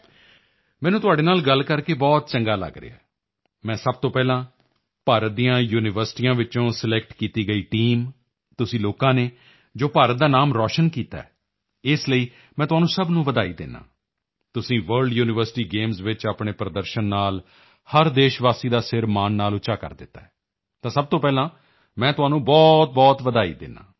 ਮੈਨੂੰ ਤੁਹਾਡੇ ਨਾਲ ਗੱਲ ਕਰਕੇ ਬਹੁਤ ਚੰਗਾ ਲਗ ਰਿਹਾ ਹੈ ਮੈਂ ਸਭ ਤੋਂ ਪਹਿਲਾਂ ਭਾਰਤ ਦੀਆਂ ਯੂਨੀਵਰਸਿਟੀਆਂ ਵਿੱਚੋਂ ਸਿਲੈਕਟ ਕੀਤੀ ਗਈ ਟੀਮ ਤੁਸੀਂ ਲੋਕਾਂ ਨੇ ਜੋ ਭਾਰਤ ਦਾ ਨਾਮ ਰੋਸ਼ਨ ਕੀਤਾ ਹੈ ਇਸ ਲਈ ਮੈਂ ਤੁਹਾਨੂੰ ਸਭ ਨੂੰ ਵਧਾਈ ਦਿੰਦਾ ਹਾਂ ਤੁਸੀਂ ਵਰਲਡ ਯੂਨੀਵਰਸਿਟੀ ਗੇਮਸ ਵਿੱਚ ਆਪਣੇ ਪ੍ਰਦਰਸ਼ਨ ਨਾਲ ਹਰ ਦੇਸ਼ਵਾਸੀ ਦਾ ਸਿਰ ਮਾਣ ਨਾਲ ਉੱਚਾ ਕਰ ਦਿੱਤਾ ਹੈ ਤਾਂ ਸਭ ਤੋਂ ਪਹਿਲਾਂ ਮੈਂ ਤੁਹਾਨੂੰ ਬਹੁਤਬਹੁਤ ਵਧਾਈ ਦਿੰਦਾ ਹਾਂ